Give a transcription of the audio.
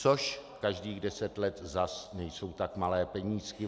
Což každých deset let zase nejsou tak malé penízky.